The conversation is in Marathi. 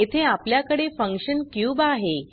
येथे आपल्याकडे फंक्शन क्यूब आहे